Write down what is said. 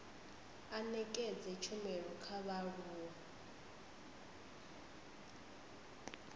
a nekedze tshumelo kha vhaaluwa